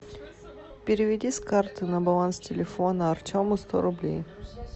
переведи с карты на баланс телефона артему сто рублей